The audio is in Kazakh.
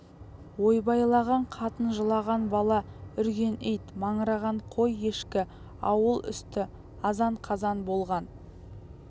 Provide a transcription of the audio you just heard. ойбайлаған қатын жылаған бала үрген ит маңыраған қой-ешкі ауыл үсті азан-қазан болған